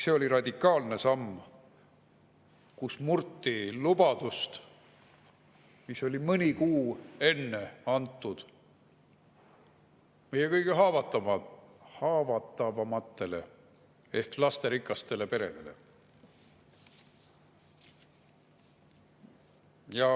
See oli radikaalne samm, millega murti lubadust, mis oli mõni kuu enne antud meie kõige haavatavamatele ehk lasterikastele peredele.